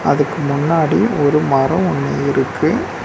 அதுக்கு முன்னாடி ஒரு மரோ ஒன்னு இருக்கு.